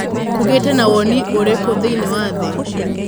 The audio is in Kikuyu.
Kũgĩte na woni ũrĩkũthĩinĩĩ wa thĩ?